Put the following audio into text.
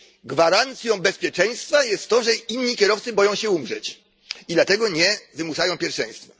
Gwarancją bezpieczeństwa jest to, że inni kierowcy boją się umrzeć, i dlatego nie wymuszają pierwszeństwa.